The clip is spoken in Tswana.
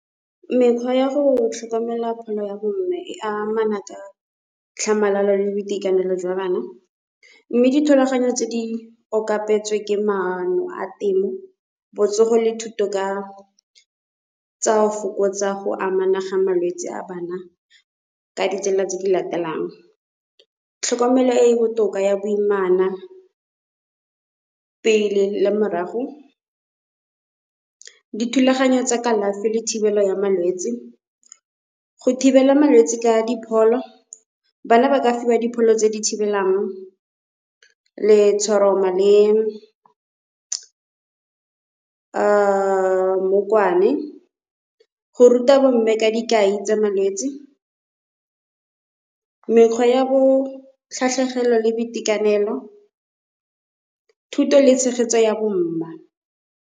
Mekgwa ya go tlhokomela pholo ya bo mme e amana ka tlhamalalo le boitekanelo jwa bana. Mme dithulaganyo tse di okapetswe ke maano a temo, botsogo le thuto ka tsa go fokotsa go amana ga malwetse a bana ka ditsela tse di latelang. Tlhokomelo e e botoka ya boimana, pele le morago dithulaganyo tsa kalafi le thibelo ya malwetse, go thibela malwetse ka dipholo. Bana ba ka fiwa dipholo tse di thibelang letshoroma le mmokwane, go ruta bo mme ka dikai tsa malwetse, mekgwa ya botlhatlhegelo le boitekanelo, thuto le tshegetso ya bomma.